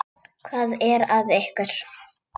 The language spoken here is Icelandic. Hvað er að ykkur?